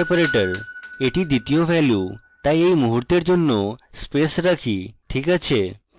এটি দ্বিতীয় value তাই এই মুহূর্তের জন্য স্পেস রাখি this আছে